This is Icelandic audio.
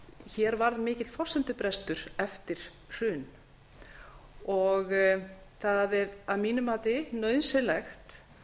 hér varð mikill forsendubrestur eftir hrun og það er að mínu mati nauðsynlegt